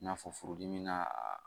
I n'a fɔ furudimi na